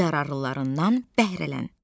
Yararlılarından bəhrələn.